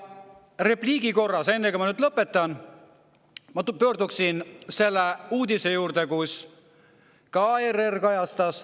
Repliigi korras, enne kui ma lõpetan, ma pöörduksin selle uudise juurde, mida ka ERR kajastas.